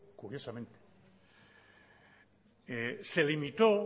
curiosamente se limitó